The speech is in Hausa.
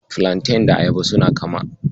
Filanten da Ayaba suna kama.